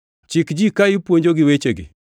Chik ji ka ipuonjogi wechegi.